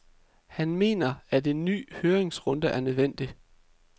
Han mener, at en ny høringsrunde er nødvendig.